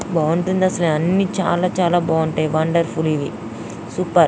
బాగుంటుంది అసలు అన్ని చాల చాల బాగుంటాయి వండర్ఫుల్ వి సూపర్ .